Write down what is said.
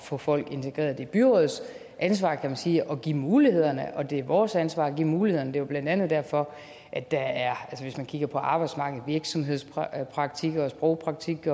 få folk integreret det er byrådets ansvar man sige at give mulighederne og det er vores ansvar at give mulighederne det er jo blandt andet derfor at der er hvis man kigger på arbejdsmarkedet virksomhedspraktik sprogpraktik